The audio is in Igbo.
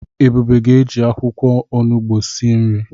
Ebube ga-eji akwụkwọ onugbo esi nri